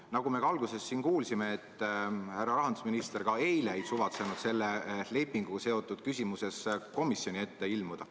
Nagu me alguses kuulsime, härra rahandusminister ka eile ei suvatsenud selle lepinguga seotud küsimuses komisjoni ette ilmuda.